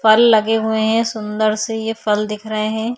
फल लगे हुए है सुंदर से ये फल दिख रहे हैं।